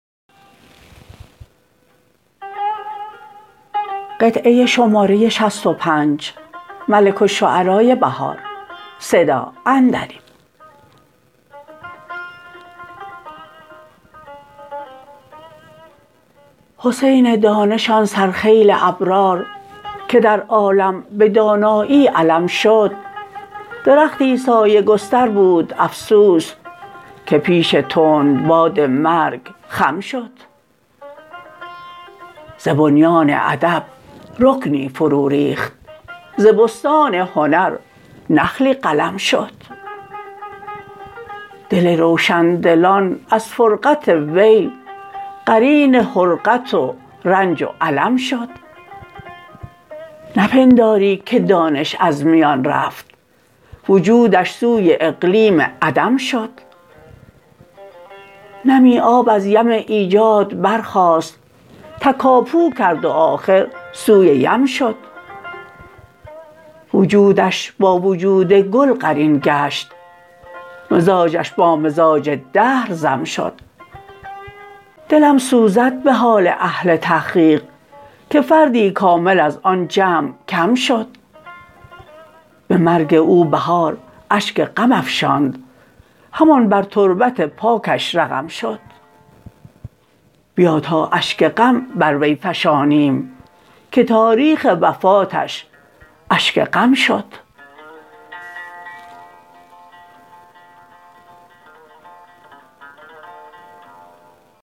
حسین دانش آن سرخیل ابرار که در عالم به دانایی علم شد درختی سایه گستر بود افسوس که پیش تندباد مرگ خم شد ز بنیان ادب رکنی فرو ریخت ز بستان هنر نخلی قلم شد دل روشندلان از فرقت وی قرین حرقت و رنج و الم شد نپنداری که دانش از میان رفت وجودش سوی اقلیم عدم شد نمی آب از یم ایجاد برخاست تکاپو کرد و آخر سوی یم شد وجودش با وجود گل قرین کشت مزاجش با مزاج دهر ضم شد دلم سوزد به حال اهل تحقیق که فردی کامل از آن جمع کم شد به مرگ او بهار اشگ غم افشاند همان بر تربت پاکش رقم شد بیا تا اشگ غم بر وی فشانیم که تاریخ وفاتش اشک غم شد